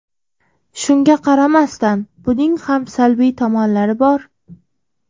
Shunga qaramasdan, buning ham salbiy tomonlari bor.